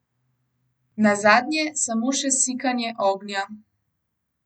Nazadnje samo še sikanje ognja.